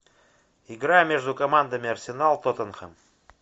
игра между командами арсенал тоттенхэм